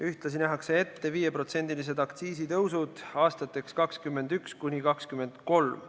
Ühtlasi nähakse ette 5%-lised aktsiisitõusud aastateks 2021–2023.